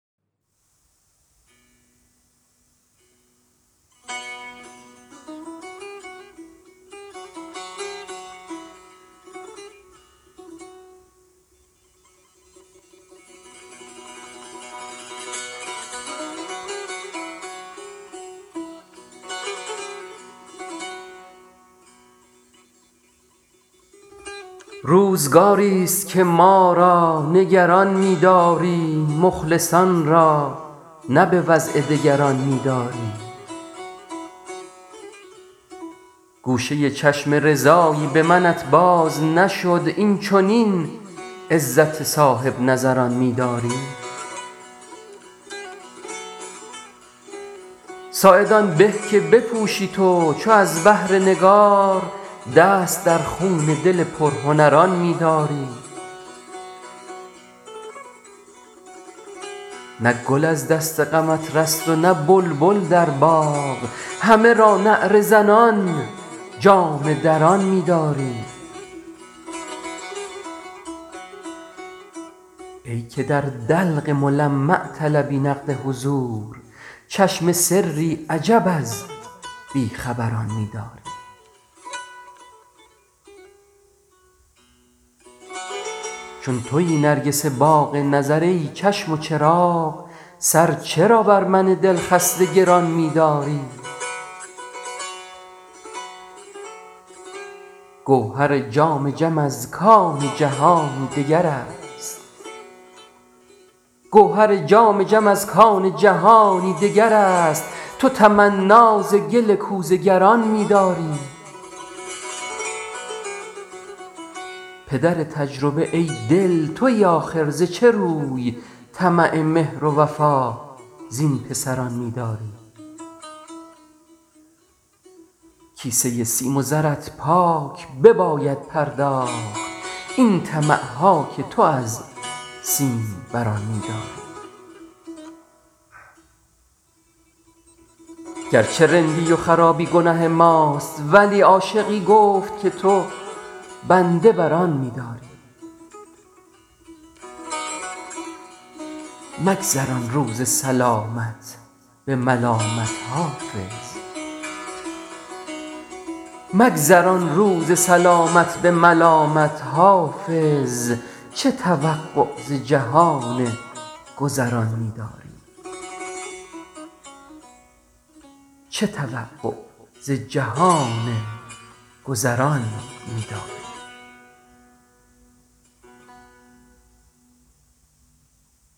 روزگاری ست که ما را نگران می داری مخلصان را نه به وضع دگران می داری گوشه چشم رضایی به منت باز نشد این چنین عزت صاحب نظران می داری ساعد آن به که بپوشی تو چو از بهر نگار دست در خون دل پرهنران می داری نه گل از دست غمت رست و نه بلبل در باغ همه را نعره زنان جامه دران می داری ای که در دلق ملمع طلبی نقد حضور چشم سری عجب از بی خبران می داری چون تویی نرگس باغ نظر ای چشم و چراغ سر چرا بر من دل خسته گران می داری گوهر جام جم از کان جهانی دگر است تو تمنا ز گل کوزه گران می داری پدر تجربه ای دل تویی آخر ز چه روی طمع مهر و وفا زین پسران می داری کیسه سیم و زرت پاک بباید پرداخت این طمع ها که تو از سیم بران می داری گر چه رندی و خرابی گنه ماست ولی عاشقی گفت که تو بنده بر آن می داری مگذران روز سلامت به ملامت حافظ چه توقع ز جهان گذران می داری